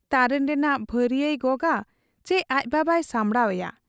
ᱛᱟᱨᱮᱱ ᱨᱮᱱᱟᱜ ᱵᱷᱟᱹᱨᱤᱭᱟᱹᱭ ᱜᱚᱜᱟᱪᱤ ᱟᱡ ᱵᱟᱵᱟᱭ ᱥᱟᱢᱵᱷᱲᱟᱣ ᱮᱭᱟ ?